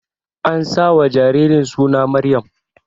An sa wa jaririn suna Maryam